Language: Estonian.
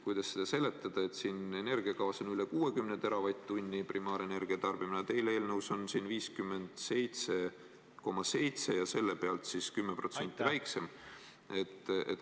Kuidas seda seletada, et siin energiakavas on üle 60 teravatt-tunni primaarenergia tarbimine, aga teil eelnõus on 57,7 ja selle pealt siis 10% väiksem?